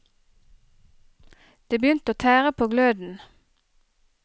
Det begynte å tære på gløden.